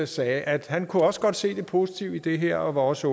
sagde at han også godt kunne se det positive i det her og også